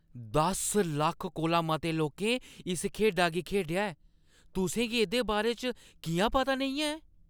दस लक्ख कोला मते लोकें इस खेढा गी खेढेआ ऐ। तुसें गी एह्दे बारे च किʼयां पता नेईं ऐ?